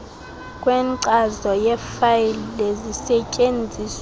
kwenkcazo yefayile zisetyenziswe